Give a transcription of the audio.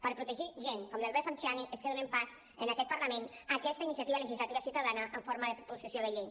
per protegir gent com l’hervé falciani és que donem pas en aquest parlament a aquesta iniciativa legislativa ciutadana en forma de proposició de llei